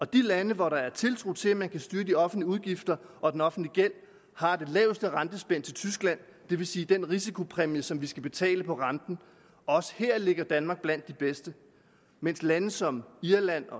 de lande hvor der er tiltro til at man kan styre de offentlige udgifter og den offentlige gæld har det laveste rentespænd til tyskland det vil sige den risikopræmie som vi skal betale på renten også her ligger danmark blandt de bedste mens lande som irland